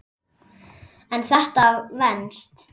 En þetta venst.